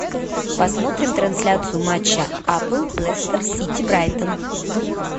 посмотрим трансляцию матча апл лестер сити брайтон